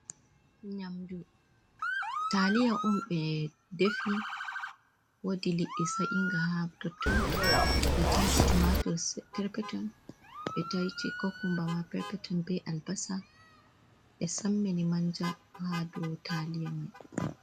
Nyamdu taliya on ɓe defi woodi liɗɗi sa'ega haa totton, ɓe waati tumatur per peton, ɓe tay kokumba ma per peton, be albasa, ɓe sammini manja ha do taliya mai.